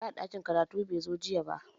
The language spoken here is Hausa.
Mai kula da ɗakin karatu bai zo jiya ba